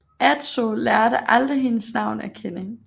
Adso lærte aldrig hendes navn at kende